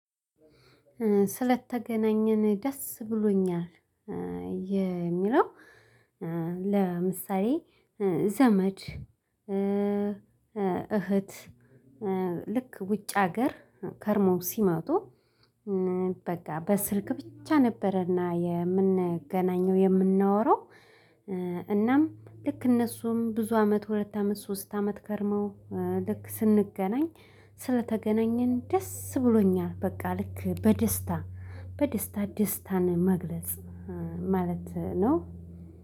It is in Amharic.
ስለተገናኘን ደስ ብሎኛል። የሚለው ለምሳሌ ዘመድ እህት ልክ ውጭ ሀገር ከርሞ ሲመጡ። በቃ በስልክ ብቻ ነበረና የምንገናኘው የምናወራው። እናም ልክ እነሱም ብዙ አመት ሁለት አመት ሶስት አመት ከርመው። ልክ ስንገናኝ ስለተገናኘን ደስ ብሎኛል በቃ ልክ በደስታ በደስታ ደስታን መግለጽ ማለት ነው።